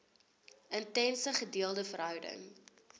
intense gedeelde verhouding